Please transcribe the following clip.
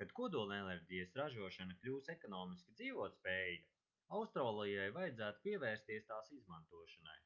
kad kodolenerģijas ražošana kļūs ekonomiski dzīvotspējīga austrālijai vajadzētu pievērsties tās izmantošanai